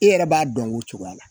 E yɛrɛ b'a dɔn o cogoya la